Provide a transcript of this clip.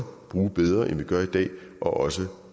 bruge bedre end vi gør i dag og også